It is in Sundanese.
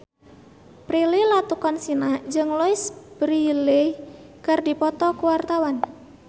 Prilly Latuconsina jeung Louise Brealey keur dipoto ku wartawan